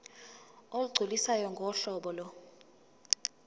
olugculisayo ngohlobo lo